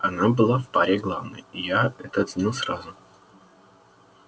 она была в паре главной и я это оценил сразу